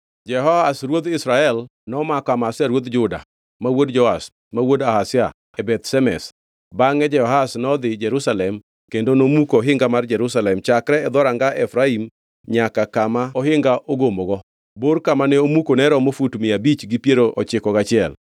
Jehoash ruodh Israel nomako Amazia ruodh Juda, ma wuod Joash, ma wuod Ahazia e Beth Shemesh. Bangʼe Jehoash nodhi Jerusalem kendo nomuko ohinga mar Jerusalem chakre e dhoranga Efraim nyaka kama ohinga ogomogo; bor kama ne omuko ne romo fut mia abich gi piero ochiko gachiel.